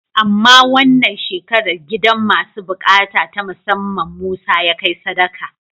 Amma wannan shekarar gidan masu buƙata ta musamman Musa ya kai sadaka.